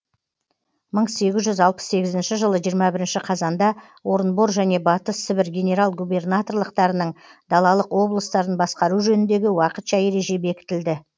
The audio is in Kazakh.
мың сегіз жүз алпыс сегізінші жылы жиырма бірінші қазанда орынбор және батыс сібір генерал губернаторлықтарының далалық облыстарын басқару жөніндегі уақытша ереже бекітілді